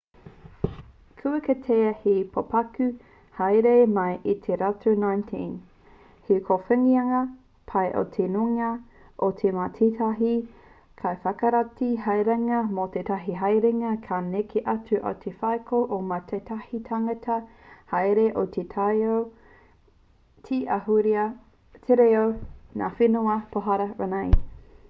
kua kitea he pokapū hāereere mai i te rautau 19 he kōwhiringa pai i te nuinga o te wā tētahi kaiwhakarite haerenga mō tētahi haerenga ka neke atu i te wheako o mua o tētahi tangata hāereere o te taiao te ahurea te reo ngā whenua pohara rānei